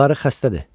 Qarı xəstədir.